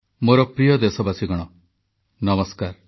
ନୂଆବର୍ଷ ନୂଆ ଦଶନ୍ଧି ପାଇଁ ଦେଶବାସୀଙ୍କୁ ପ୍ରଧାନମନ୍ତ୍ରୀଙ୍କ ଶୁଭେଚ୍ଛା